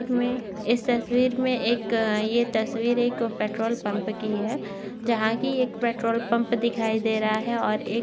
इस तस्वीर में इस तस्वीर में एक ये तस्वीर एक पेट्रोल-पम्प की है जहाँ की एक पेट्रोल-पम्प दिखाई दे रहा है और एक --